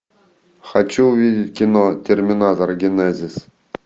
хочу увидеть кино терминатор генезис